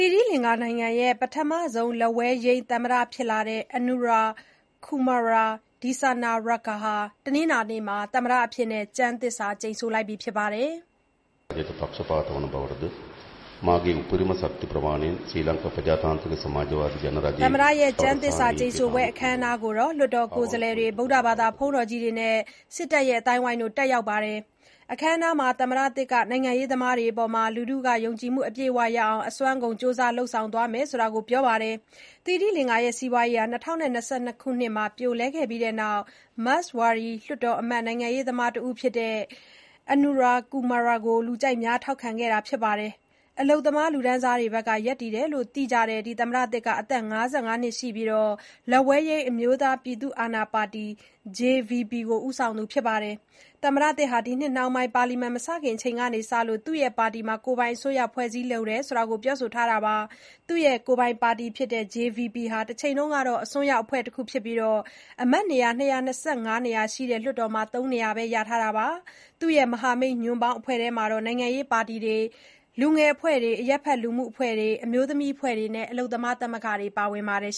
ီရိလင်္ကာနိုင်ငံရဲ့ ပထမဆုံးလက်ဝဲယိမ်း သမ္မတဖြစ်လာတဲ့ Anura Kumara Dissanayaka ဟာ တနင်္လာနေ့မှာ သမ္မတကျမ်းသစ္စာကျိန်ဆိုပါတယ်။ ကျမ်းသစ္စာကျိန်ဆိုပွဲ အခမ်းအနားကို လွှတ်တော်ကိုယ်စားလှယ်တွေ၊ ဗုဒ္ဓဘာသာ ဘုန်းတော်ကြီးတွေနဲ့ စစ်တပ်အသိုင်းအဝိုင်းတို့ တက်ရောက်ပါတယ်။ အခမ်းအနားမှာ သမ္မတသစ် Dissanayaka ကနိုင်ငံရေးသမားတွေအပေါ် လူထုယုံကြည်မှု အပြည့်အဝရအောင် အစွမ်းကုန် ကြိုးစားလုပ်ဆောင်သွားမယ်လို့ ပြောပါတယ်။ သီရိလင်္ကာစီးပွားရေး ၂၀၂၂ ခုနှစ်မှာ ပြိုလဲခဲ့ပြီးတဲ့နောက်ပိုင်း မက်စ်ဝါဒီ လွှတ်တော်အမတ် နိုင်ငံရေးသမားတဦးဖြစ်တဲ့ Dissanayaka ကို လူကြိုက်များ ထောက်ခံလာကြတာပါ။ အလုပ်သမားလူတန်းစားဘက်က ရပ်တည်တယ်လို့ သိကြတဲ့ Dissanayake ဟာ အသက် ၅၅နှစ်ရှိပြီး၊ လက်ဝဲယိမ်း အမျိုးသားပြည်သူအာဏာပါတီ JVP ကို ဦးဆောင်သူဖြစ်ပါတယ်။ သမ္မတသစ် Dissanayaka က ဒီနှစ်နှောင်းပိုင်း ပါလီမန်မစခင်အချိန်ထိ သူ့ပါတီကိုယ်ပိုင်အစိုးရကို ဖွဲ့စည်းလိုတယ်လို့ပြောဆိုထားပါတယ်။ သူ့ကိုယ်ပိုင်ပါတီ JVP ဟာ တချိန်က အစွန်းရောက်အဖွဲ့တခုဖြစ်ပြီး အမတ်နေရာ ၂၂၅ နေရာရှိတဲ့ လွှတ်တော်မှာ သုံးနေရာပဲ ရထားတာပါ။ သူ့ မဟာမိတ်ညွန်ပေါင်းအဖွဲ့ထဲမှာတော့ နိုင်ငံရေးပါတီတွေ လူငယ်အဖွဲ့တွေ အရပ်ဘက်လူမှုအဖွဲ့တွေ အမျိုးသမီးအဖွဲ့တွေနဲ့ အလုပ်သမားသမဂ္ဂတွေ ပါဝင်ပါတယ်။